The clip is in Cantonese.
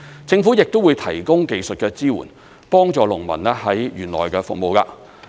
政府亦會提供技術的支援，幫助農民在園內務農。